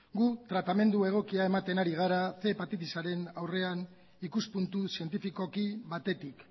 gu tratamendu egokia ematen ari gara ehun hepatitisaren aurrean ikuspuntu zientifikoki batetik